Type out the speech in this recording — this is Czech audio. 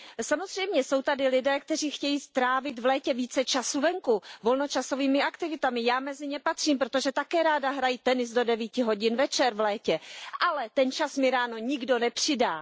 Samozřejmě, jsou tady lidé, kteří chtějí strávit v létě více času venku volnočasovými aktivitami, já mezi ně patřím, protože také ráda hraji tenis do devíti hodin večer v létě, ale ten čas mi ráno nikdo nepřidá.